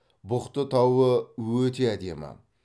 бұхты тауы өте әдемі